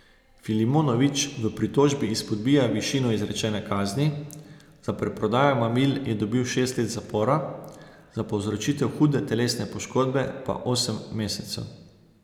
Filimonović v pritožbi izpodbija višino izrečene kazni, za preprodajo mamil je dobil šest let zapora, za povzročitev hude telesne poškodbe pa osem mesecev.